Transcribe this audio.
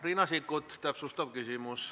Riina Sikkut, täpsustav küsimus.